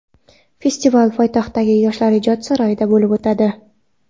Festival poytaxtdagi Yoshlar ijod saroyida bo‘lib o‘tadi.